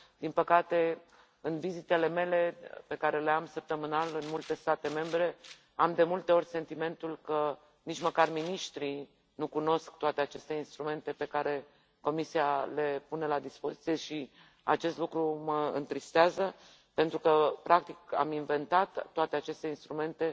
Din păcate, în vizitele mele, pe care le am săptămânal în multe state membre, am de multe ori sentimentul că nici măcar miniștrii nu cunosc toate aceste instrumente pe care Comisia le pune la dispoziție și acest lucru mă întristează pentru că, practic, am inventat toate aceste instrumente